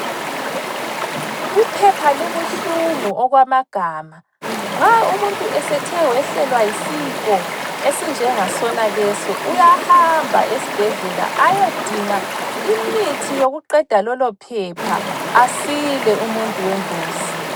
Uphepha lubuhlungu okwamagama, nxa umuntu esethe wehlelwa yisifo, esinjengasonaleso, uyahamba esibhedlela ayodinga imithi yokuqeda lolophepha asile umuntu wenkosi.